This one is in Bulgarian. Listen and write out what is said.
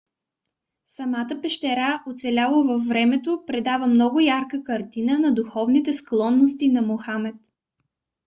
самата пещера оцеляла във времето предава много ярка картина на духовните склонности на мохамед